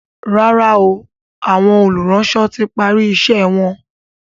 ràrá o Àwọn olùránsọ tí pari iṣé wón.